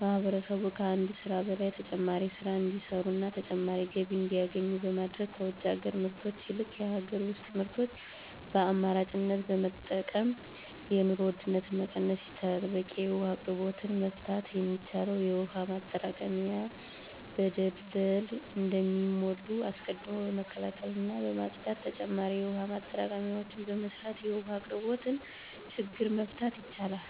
ማህበረሰቡ ከአንድ ስራ በላይ ተጨማሪ ስራ እንዲሰሩና ተጨማሪ ገቢ እንዲያገኙ በማድረግ ከውጭ ሀገር ምርቶች ይልቅ የሀገር ውስጥ ምርቶችን በአማራጭነት በመጠቀም የኑሮ ውድነትን መቀነስ ይቻላል። በቂ የውሀ አቅርቦትን መፍታት የሚቻለው የውሀ ማጠራቀሚያዎች በደለል እንዳይሞሉ አስቀድሞ በመከላከልና በማፅዳት ተጨማሪ የውሀ ማጠራቀሚያዎችን በመስራት የውሀ አቅርቦትን ችግር መፍታት ይቻላል።